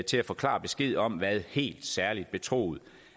til at få klar besked om hvad helt særlig betroet